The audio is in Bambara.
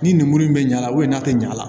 Ni ninmuru in bɛ ɲa n'a tɛ ɲɛ a la